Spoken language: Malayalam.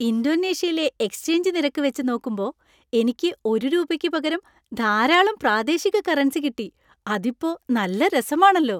ഇന്തോനേഷ്യയിലെ എക്സ്ചെയ്ഞ്ച് നിരക്ക് വെച്ച് നോക്കുമ്പോ എനിക്ക് ഒരു രൂപയ്ക്ക് പകരം ധാരാളം പ്രാദേശിക കറൻസി കിട്ടി, അതിപ്പോ നല്ല രസമാണെല്ലോ.